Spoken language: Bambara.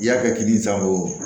I y'a kɛ kini san o